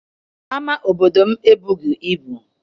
Ama obodo m ebughị ibu.